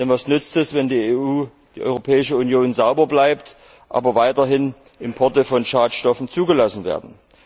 Denn was nützt es, wenn die Europäische Union sauber bleibt, aber weiterhin Importe von Schadstoffen zugelassen werden.